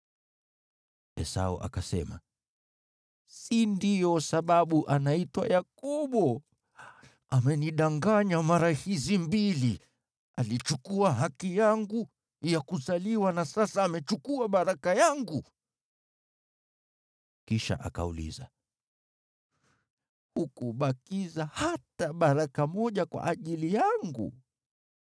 Esau akasema, “Si ndiyo sababu anaitwa Yakobo? Amenidanganya mara hizi mbili: Alichukua haki yangu ya kuzaliwa na sasa amechukua baraka yangu!” Kisha akauliza, “Hukubakiza hata baraka moja kwa ajili yangu?”